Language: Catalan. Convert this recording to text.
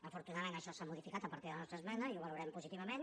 afortunadament això s’ha modificat a partir de la nostra esmena i ho valorem positivament